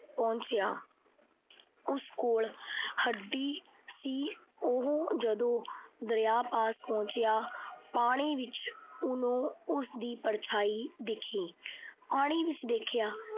ਪਹੁੰਚਿਆ। ਉਸ ਕੋਲ ਹੱਡੀ ਸੀ। ਉਹ ਜਦੋਂ ਦਰਿਆ ਪਾਸ ਪਹੁੰਚਿਆ। ਪਾਣੀ ਵਿੱਚ ਉਹਨੂੰ ਉਸਦੀ ਪਰਛਾਈ ਦਿਖੀ। ਪਾਣੀ ਵਿੱਚ ਦੇਖਿਆ।